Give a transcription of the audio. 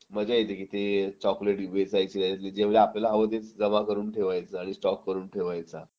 मजा येते की ते चॉकलेट जे आपल्याला आवडतेच जमा करून ठेवायचं आणि तेच स्टॉक करून ठेवायचा